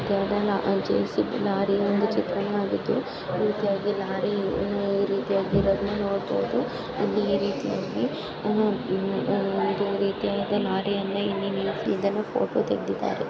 ಒಂದು ಚಿತ್ರಣವಾಗಿತ್ತು. ಇಲ್ ಕೆಳಗೆ ಲೋರಿ ರೀತಿಯಾಗಿ ಅದನ್ನ ನೋಡಬಹುದು. ಇಲ್ಲಿ ಈ ರೀತಿಯಾಗಿ ಅಹ್ ಇಲ್ ಅಹ್ ಈದ್ ಒಂದ್ ರೀತಿಯಾದಿ ಲಾರ್ರಿಯನ ಇಲ್ಲಿ ನಿಲ್ಸ್ ಇದನ್ನ ಫೋಟೋ ತೆಗೆದಿದ್ದಾರೆ .